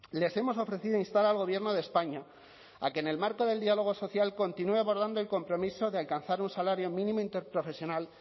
les hemos ofrecido instar al gobierno de españa a que en el marco del diálogo social continúe abordando el compromiso de alcanzar un salario mínimo interprofesional